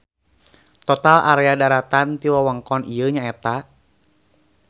Total area daratan ti wewengkon ieu nyaeta.